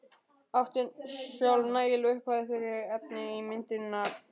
Átti sjálf nægilega upphæð fyrir efni í myndirnar.